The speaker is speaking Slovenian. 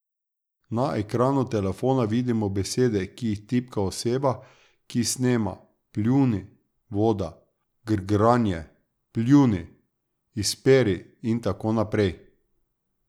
Na ekranu telefona vidimo besede, ki jih tipka oseba, ki snema: "pljuni", "voda", "grgranje", "pljuni", "izperi" in tako naprej ...